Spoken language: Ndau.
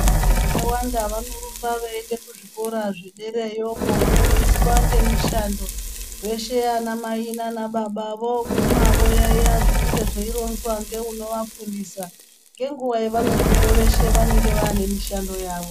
Vanhu vakawanda vanorumba veiende kuzvikora zvedereyo kofundiswa ngemishando, veshe vana Mai nana baba voguma voyaiya zvinenge zveironzwa ngeunovafundisa. Ngenguwa yevanobveyo veshe vanenge vane mishando yavo.